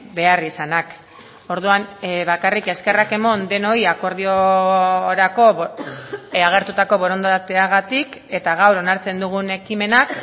beharrizanak orduan bakarrik eskerrak eman denoi akordiorako agertutako borondateagatik eta gaur onartzen dugun ekimenak